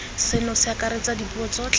seno se akaretsa dipuo tsotlhe